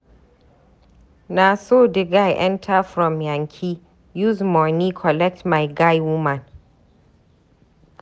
Na so di guy enta from yankee, use moni collect my guy woman.